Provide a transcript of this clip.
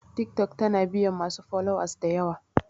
Tiktok tana biyan masu followers dayawa